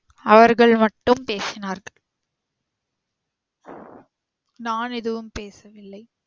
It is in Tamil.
அவர்கள் மட்டும் பேசினார்கள் நான் எதுவும் பேசவில்லை